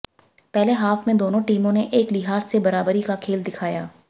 पहले हाफ में दोनों टीमों ने एक लिहाज से बराबरी का खेल दिखाया